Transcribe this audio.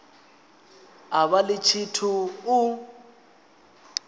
a vha ḽi tshithu u